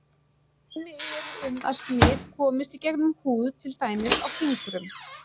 Dæmi eru um að smit komist í gegnum húð til dæmis á fingrum.